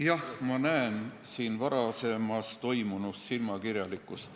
Jah, ma näen varasemas siin toimunus silmakirjalikkust.